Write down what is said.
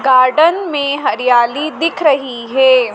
Garden में हरियाली दिख रही है।